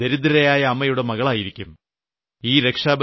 അവൾ ഏതെങ്കിലും ദരിദ്രയായ അമ്മയുടെ മകളായിരിക്കും